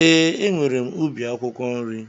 Ee, e nwèrè m ubi akwụkwọ nri